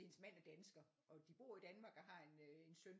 Hendes mand er dansker og de bor i Danmark og har en øh en søn